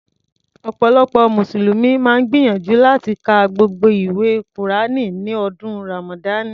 Ọ̀pọ̀lọpọ̀ mùsùlùmí máa ń gbìyànjú láti ka gbogbo ìwé kùránì ní ọdún Ràmàdánì.